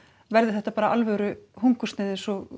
verði þetta bara alvöru hungursneyð eins og